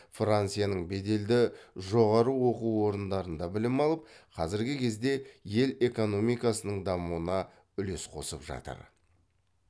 францияның беделді жоғары оқу орындарында білім алып қазіргі кезде ел экономикасының дамуына үлес қосып жатыр